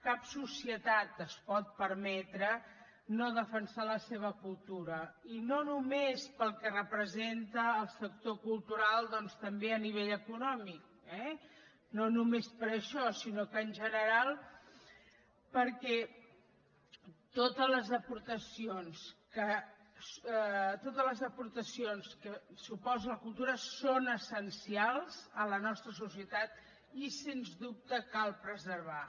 cap societat es pot permetre no defensar la seva cultura i no només pel que representa el sector cultural doncs també a nivell econòmic eh no només per això sinó que en general perquè totes les aportacions que suposa la cultura són essencials a la nostra societat i sens dubte cal preservar